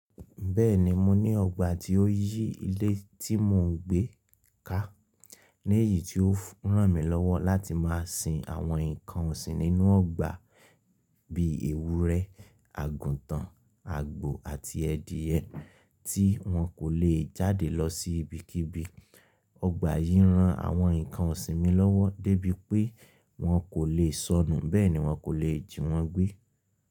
Bẹ́ẹ̀ni, mo ní ọgbà tí ó yí ilé tí mò ń gbé ká. Ní èyí tí ó ràn mí lọ́wọ́ láti máa sin àwọn nǹkan ọ̀sìn nínú ọgbà bíi èwúrẹ́, àgùntàn, àgbò àti adìẹ tí wọn kò lè jáde lọ sí ibikíbi. Ọgbà yìí ran àwọn nǹkan ọ̀sìn mi lọ́wọ́ débi pé wọn kò lè sọnù, bẹ́ẹ̀ ni wọn kò lè jì wọ́n gbé.